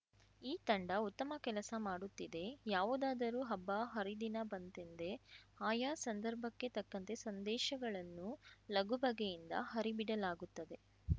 ಈ ತಂಡ ಉತ್ತಮ ಕೆಲಸ ಮಾಡುತ್ತಿದೆ ಯಾವುದಾದರೂ ಹಬ್ಬ ಹರಿದಿನ ಬಂತೆಂದೆ ಆಯಾ ಸಂದರ್ಭಕ್ಕೆ ತಕ್ಕಂತೆ ಸಂದೇಶಗಳನ್ನು ಲಗುಬಗೆಯಿಂದ ಹರಿಬಿಡಲಾಗುತ್ತದೆ